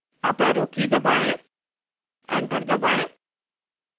up arrow की दबाएं enter दबाएं